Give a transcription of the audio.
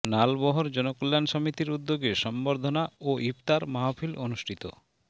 নালবহর জনকল্যাণ সমিতির উদ্যোগে সংবর্ধনা ও ইফতার মাহফিল অনুষ্ঠিত